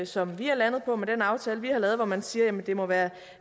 som vi er landet på med den aftale vi har lavet hvor man siger at det må være